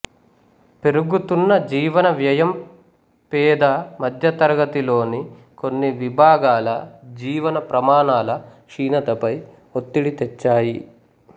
పెరుగుతున్న జీవన వ్యయం పేద మధ్యతరగతిలోని కొన్ని విభాగాల జీవన ప్రమాణాల క్షీణతపై ఒత్తిడి తెచ్చాయి